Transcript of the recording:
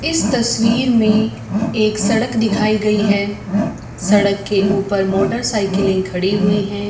इस तस्वीर में एक सड़क दिखाई गई है सड़क के ऊपर मोटर साइकिलें खड़े हुए हैं।